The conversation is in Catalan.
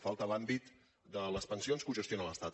falta l’àmbit de les pensions que ho gestiona l’estat